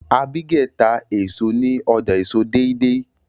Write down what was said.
Abigael tá èso ní ọjà èso deidei